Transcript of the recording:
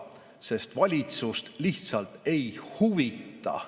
Sest valitsust lihtsalt ei huvita.